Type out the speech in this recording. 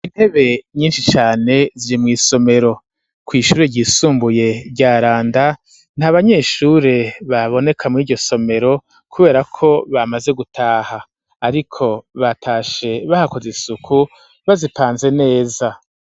Intebe nyinshi cane ziri mw'isomero. Kw'ishure ryisumbuye rya Randa, nta banyeshure baboneka muri iryo somero kubera ko bamaze gutaha. Ariko batashe bahakoze isuku, bazipanze neza.